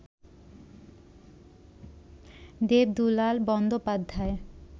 Debdulal Bandyopadhyay